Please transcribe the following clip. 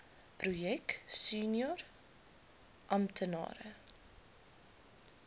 projek senior amptenare